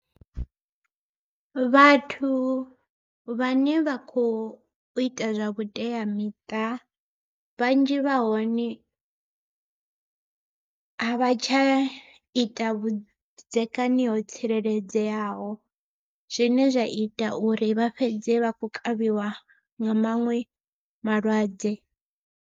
Vhathu vhane vha kho ita zwa vhuteamiṱa, vhanzhi vha hone a vha tsha ita vhudzekani ho tsireledzeaho zwine zwa ita uri vha fhedze vha khou kavhiwa nga maṅwe malwadze.